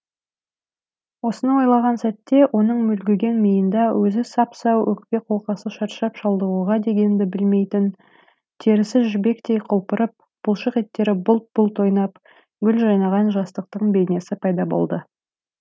осыны ойлаған сәтте оның мүлгіген миында өзі сап сау өкпе қолқасы шаршап шалдығуды дегенді білмейтін терісі жібектей құлпырып бұлшық еттері бұлт бұлт ойнап гүл жайнаған жастықтың бейнесі пайда болды